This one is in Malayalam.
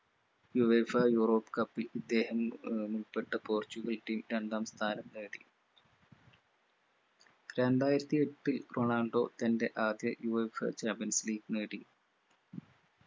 uefaeurope cup ൽ ഇദ്ദേഹം ഏർ ഉൾപ്പെട്ട പോർച്ചുഗൽ team രണ്ടാംസ്ഥാനം നേടി രണ്ടായിരത്തി എട്ടിൽ റൊണാൾഡോ തന്റെ ആദ്യ uefachampions league നേടി